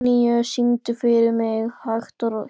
Antóníus, syngdu fyrir mig „Hægt og hljótt“.